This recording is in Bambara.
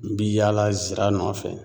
N bi yaala zira nɔfɛ.